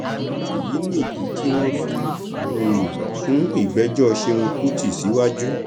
èyí nìdí tí wọn fi um sún ìgbẹjọ ṣẹun kùtì síwájú